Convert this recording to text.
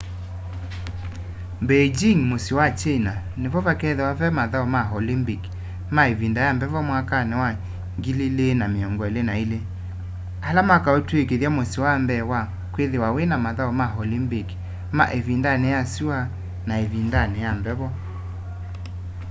beijĩng mũsyĩ wa china nĩ vo vakethĩwa ve mathaũ ma olympik ma ĩvĩnda ya mbevo mwakanĩ wa 2022 ala makaũtwĩkĩtha mũsyĩ wa mbee wa kwĩthĩwa wĩna mathaũ ma olympik ma ĩvĩndanĩ ya sũa n ĩvindanĩ ya mbevo